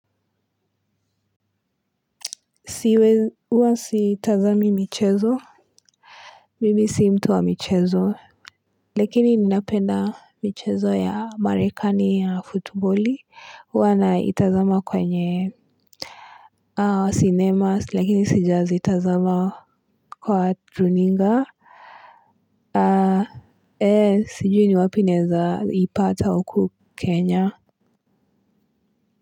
Siwe huwa sitazami michezo mimi si mtu wa michezo lakini ninapenda michezo ya marekani ya futboli huwa naitazama kwenye sinema lakini sijazitazama kwa runinga aa ee sijui ni wapi naweza kuipata huku kenya. Kwa hivyo.